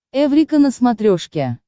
эврика на смотрешке